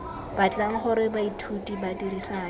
batlang gore baithuti ba dirisane